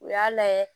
U y'a lajɛ